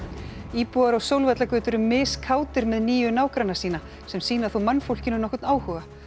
íbúar á Sólvallagötu eru með nýju nágranna sína sem sýna þó mannfólkinu nokkurn áhuga